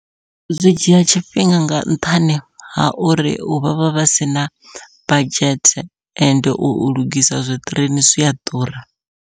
Zwi dzhia tshifhinga nga nṱhani ha uri vhavha vha sina budget ende u lugisa zwi ṱireini zwia ḓura.